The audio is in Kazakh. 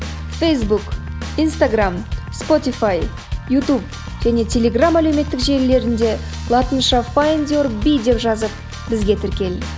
фейсбук инстаграмм спотифай ютуб және телеграм әлеуметтік желілерінде латынша файндюрби деп жазып бізге тіркел